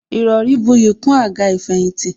Ìrọrí buyì kún àga ìfẹ̀yìntì